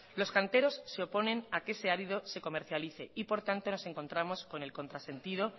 los canteros se oponen a que ese árido se comercialice y por tanto nos encontramos con el contrasentido